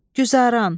Güzəran.